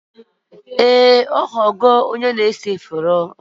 Ee ọ ghọwo onye na-ese foto